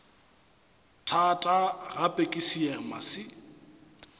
thata gape ke seema se